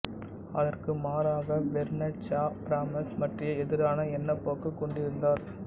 அதற்கு மாறாக Bernard Shaw Brahms பற்றிய எதிரான எண்ணப்போக்கு கொண்டிருந்தார்